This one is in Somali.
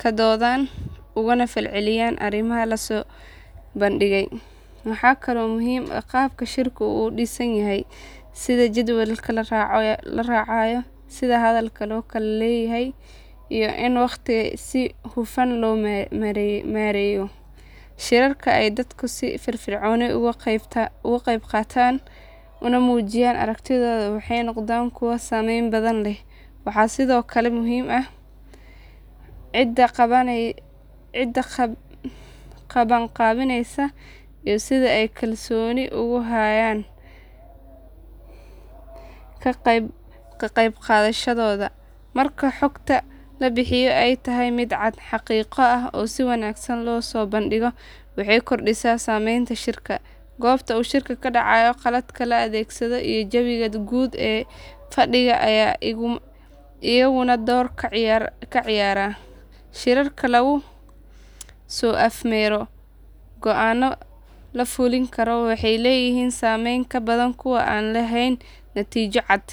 ka doodaan, ugana falceliyaan arrimaha la soo bandhigay. Waxaa kaloo muhiim ah qaabka shirku u dhisan yahay sida jadwalka la raacayo, sida hadalka loo kala leeyahay, iyo in waqtiga si hufan loo maareeyo. Shirarka ay dadku si firfircoon uga qaybqaataan una muujiyaan aragtidooda waxay noqdaan kuwo saameyn badan leh. Waxaa sidoo kale muhiim ah cidda qabanqaabineysa iyo sida ay kalsooni ugu hayaan ka qaybgalayaashu. Marka xogta la bixiyo ay tahay mid cad, xaqiiqo ah, oo si wanaagsan loo soo bandhigay waxay kordhisaa saameynta shirka. Goobta uu shirka ka dhacayo, qalabka la adeegsado iyo jawiga guud ee fadhiga ayaa iyaguna door ka ciyaara. Shirarka lagu soo afmeero go aanno la fulin karo waxay leeyihiin saameyn ka badan kuwa aan lahayn natiijo cad.